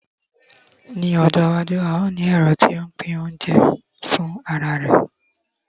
ní ọjọ iwaju, a o ni ẹrọ ti n pin ounjẹ fin ara rẹ